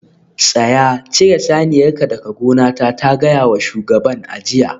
Tsaya! cire saniyarka daga gonata ta gaya wa shugaban a jiya